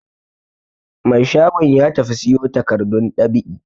Mai shagon ya tafi siyo takardun dab'i.